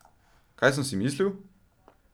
Kaj sem si mislil?